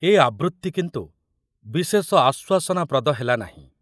ଏ ଆବୃତ୍ତି କିନ୍ତୁ ବିଶେଷ ଆଶ୍ବାସନାପ୍ରଦ ହେଲାନାହିଁ।